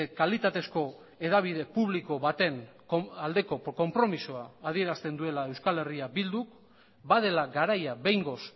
kalitatezko hedabide publiko baten aldeko konpromisoa adierazten duela euskal herria bilduk badela garaia behingoz